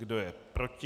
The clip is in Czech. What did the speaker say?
Kdo je proti?